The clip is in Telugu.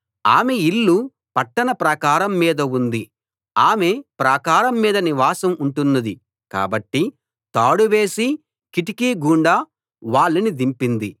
ఆమె ఇల్లు పట్టణ ప్రాకారం మీద ఉంది ఆమె ప్రాకారం మీద నివాసం ఉంటున్నది కాబట్టి తాడువేసి కిటికీ గుండా వాళ్ళని దింపింది